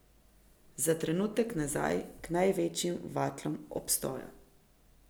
Za trenutek nazaj k največjim vatlom obstoja.